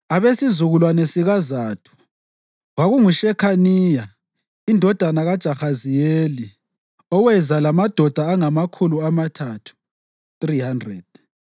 abesizukulwane sikaZathu, kwakunguShekhaniya indodana kaJahaziyeli, oweza lamadoda angamakhulu amathathu (300);